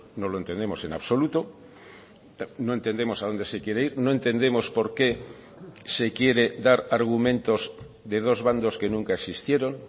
no lo entendemos en absoluto no entendemos a dónde se quiere ir no entendemos por qué se quiere dar argumentos de dos bandos que nunca existieron